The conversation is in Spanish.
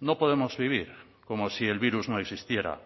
no podemos vivir como si el virus no existiera